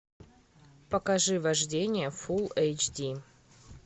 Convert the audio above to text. покажи вождение фулл эйч ди